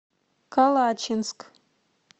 калачинск